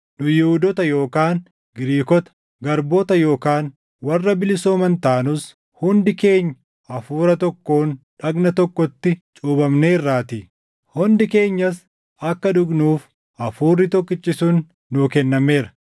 Nu Yihuudoota yookaan Giriikota, garboota yookaan warra bilisooman taanus hundi keenya Hafuura tokkoon dhagna tokkotti cuuphamneerraatii; hundi keenyas, akka dhugnuuf Hafuurri tokkichi sun nuu kennameera.